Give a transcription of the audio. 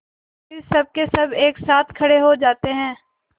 फिर सबकेसब एक साथ खड़े हो जाते हैं